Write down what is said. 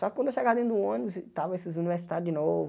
Só que quando eu chegava dentro do ônibus, estavam esses universitários de novo.